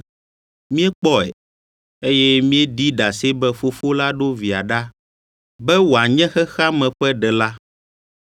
Míekpɔe, eye míeɖi ɖase be Fofo la ɖo Via ɖa be wòanye xexea me ƒe Ɖela.